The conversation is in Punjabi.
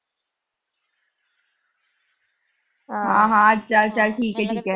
ਹਾਂ ਹਾਂ ਚਲ-ਚਲ ਠੀਕ ਆ। ਅਹ ਠੀਕ ਆ।